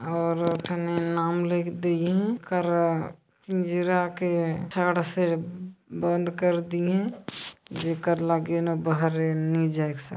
और इ ठने नाम लिख दिए है कर पिंजरा के बंद कर दिए है जेकर लगे न बहारे नी जायेक--